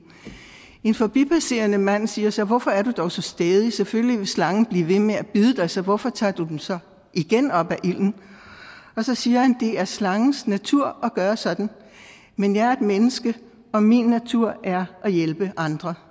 en forbipasserende mand siger så hvorfor er du dog så stædig selvfølgelig vil slangen blive ved med at bide dig så hvorfor tager du den så igen op af ilden så siger han det er slangens natur at gøre sådan men jeg er et menneske og min natur er at hjælpe andre